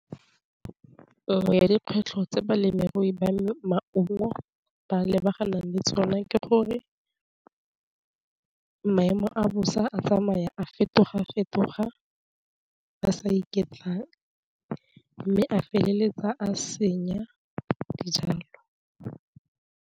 Tiro ya dikgwetlho tse balemirui ba maungo ba lebagana le tsona ke gore maemo a bosa a tsamaya a fetoga-fetoga ba sa iketlang, mme a feleletsa a senya dijalo.